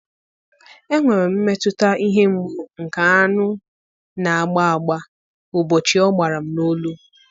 Enwere m mmetụta ihe mgbu nke aṅụ na-agba agba ụbọchị ọ gbara m n'olu.